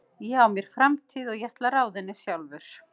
Ég á mér framtíð og ég ætla að ráða henni sjálfur.